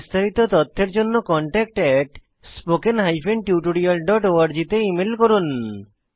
বিস্তারিত তথ্যের জন্য contactspoken tutorialorg তে ইমেল করুন